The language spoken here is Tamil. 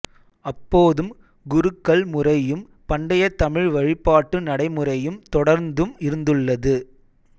அப்போதும் குருக்கள் முறையும் பண்டைய தமிழ் வழிபாட்டு நடைமுறையும் தொடர்ந்தும் இருந்துள்ளது